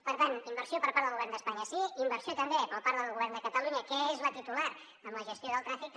per tant inversió per part del govern d’espanya sí i inversió també per part del govern de catalunya que és la titular en la gestió del trànsit també